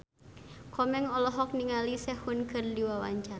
Komeng olohok ningali Sehun keur diwawancara